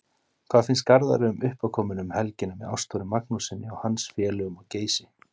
Hvað finnst Garðari um uppákomuna um helgina með Ástþóri Magnússyni og hans félögum á Geysi?